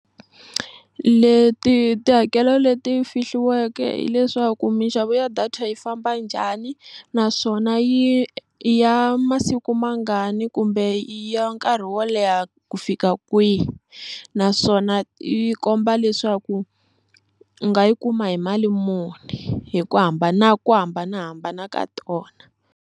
Leti tihakelo leti fihliweke hileswaku minxavo ya data yi famba njhani naswona yi i ya masiku mangani kumbe i ya nkarhi wo leha ku fika kwihi naswona yi komba leswaku u nga yi kuma hi mali muni hi ku hambana ku hambanahambana ka tona.